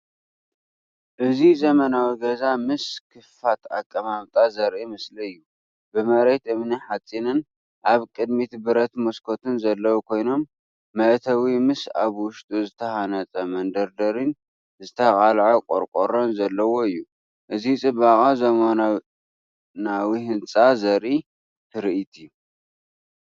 እዚ ዘመናዊ ገዛ ምስ ክፉት ኣቀማምጣ ዘርኢ ምስሊ አዩ። ብመሬት እምኒ-ሓጺንን ኣብ ቅድሚት ብረት መስኮትን ዘለዎ ኮይኑ፣ መእተዊ ምስ ኣብ ውሽጡ ዝተሃንጸ መደርደሪን ዝተቓልዐ ቈቆሮን ዘለዎ እዩ። እዚ ጽባቐ ዘመናዊ ህንጻ ዘርኢ ትርኢት እዩ።